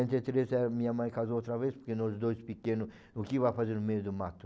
quarenta e três a minha mãe casou outra vez, porque nós dois pequenos, o que vai fazer no meio do mato?